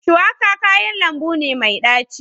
Shuwaka kayan lambu ne mai daci.